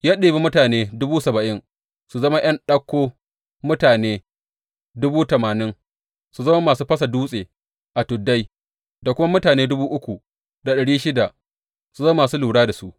Ya ɗebi mutane dubu saba’in su zama ’yan ɗauko, mutane dubu tamanin su zama masu fasa dutse a tuddai, da kuma mutane dubu uku da ɗari shida su zama masu lura da su.